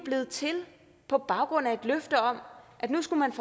blevet til på baggrund af et løfte om at nu skulle man